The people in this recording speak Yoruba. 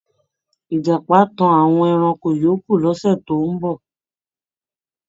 Ìjàpá á tan àwọn ẹranko yòókù lọ́sẹ̀ tó ń bọ̀.